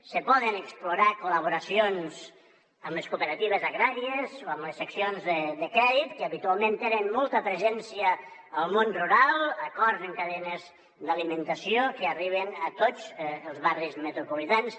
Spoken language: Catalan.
se poden explorar col·laboracions amb les cooperatives agràries o amb les seccions de crèdit que habitualment tenen molta presència al món rural acord amb cadenes d’alimentació que arriben a tots els barris metropolitans